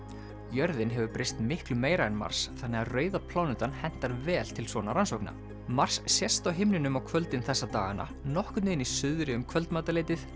jörðin hefur breyst miklu meira en Mars þannig að rauða plánetan hentar vel til svona rannsókna mars sést á himninum á kvöldin þessa dagana nokkurn veginn í suðri um kvöldmatarleytið